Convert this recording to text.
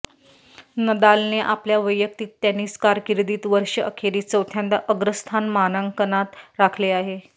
नदालने आपल्या वैयक्तिक टेनिस कारकीर्दीत वर्ष अखेरीस चौथ्यांदा अग्रस्थान मानांकनात राखले आहे